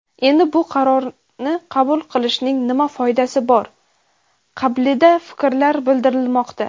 endi bu qarorni qabul qilishning nima foydasi bor qabilida fikrlar bildirilmoqda.